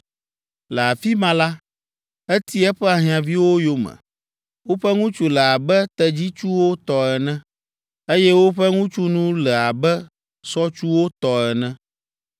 Le afi ma la, eti eƒe ahiãviwo yome. Woƒe ŋutsu le abe tedzitsuwo tɔ ene, eye woƒe ŋutsunu le abe sɔtsuwo tɔ ene.